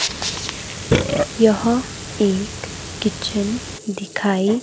यह एक किचन दिखाई--